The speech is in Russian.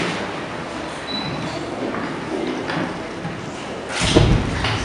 навык бумбурум давай играть в